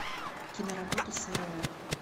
киноработа сырое